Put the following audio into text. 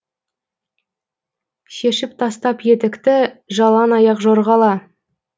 шешіп тастап етікті жалаң аяқ жорғала